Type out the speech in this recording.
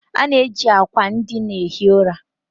A na-eji akwa ndịna ehi ura.